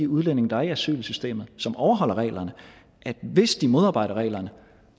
udlændinge der er i asylsystemet og som overholder reglerne at hvis de modarbejder reglerne